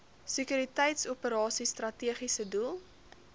sekuriteitsoperasies strategiese doel